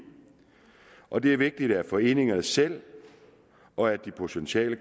og det er vigtigt at foreningerne selv og de potentielle